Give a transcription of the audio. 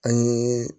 An ye